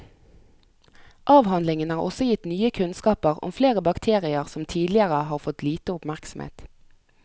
Avhandlingen har også gitt nye kunnskaper om flere bakterier som tidligere har fått lite oppmerksomhet.